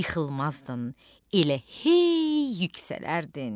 yıxılmazdın, elə hey yüksələrdin.